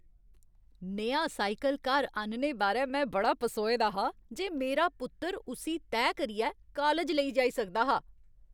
नेहा cycle घर आह्नने बारै में बड़ा पसोए दा हा जे मारा पुत्तर उस्सी तैह् करियै काालज लेई जाई सकदा हा।